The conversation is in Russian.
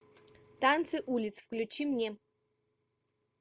танцы улиц включи мне